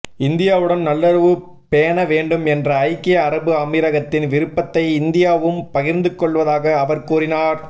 இந்தியாவுடன் நல்லுறவு பேண வேண்டும் என்ற ஐக்கிய அரபு அமீரகத்தின் விருப்பத்தை இந்தியாவும் பகிர்ந்துகொள்வதாக அவர் கூறினார்